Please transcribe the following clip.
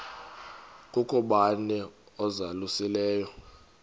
kukho bani uzalusileyo